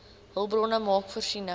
hulpbronne maak voorsiening